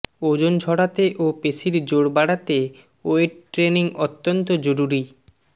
ওজন ঝরাতে ও পেশীর জোর বাড়াতে ওয়েট ট্রেনিং অত্যন্ত জরুরি